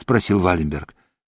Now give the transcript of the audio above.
спросил вальберг